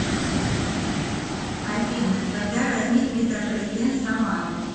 афина когда возник метрополитен самары